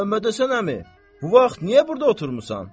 Məmmədhəsən əmi, bu vaxt niyə burda oturmusan?